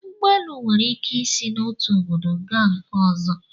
Ụgbọ elu nwere ike isi n'otu obodo gaa nke ọzọ